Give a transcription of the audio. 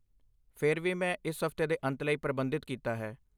ਫਿਰ ਵੀ, ਮੈਂ ਇਸ ਹਫਤੇ ਦੇ ਅੰਤ ਲਈ ਪ੍ਰਬੰਧਿਤ ਕੀਤਾ ਹੈ